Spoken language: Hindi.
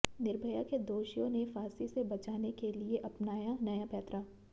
निर्भया के दोषियों ने फांसी से बचाने के लिए अपनाया नया पैंतरा